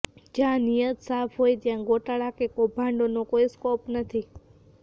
જ્યાં નીયત સાફ હોય ત્યાં ગોટાળા કે કૌભાંડોને કોઈ સ્કોપ નથી